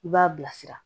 I b'a bilasira